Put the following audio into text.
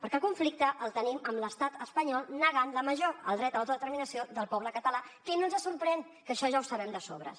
perquè el conflicte el tenim amb l’estat espanyol negant la major el dret a l’autodeterminació del poble català que no ens sorprèn que això ja ho sabem de sobres